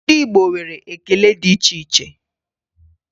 Ndị Igbo nwere ekele dị iche iche